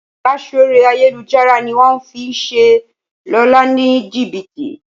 Ìbáṣọ̀rẹ́ ayélujára ní wón fí ṣe Lọla ní jibiti.